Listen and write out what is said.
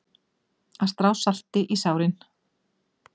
Að strá salti í sárin